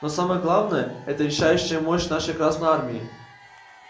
но самое главное это решающая мощь нашей красной армии